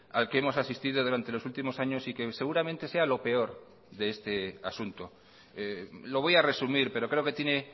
al que hemos asistido durante los últimos años y que seguramente sea lo peor de este asunto lo voy a resumir pero creo que tiene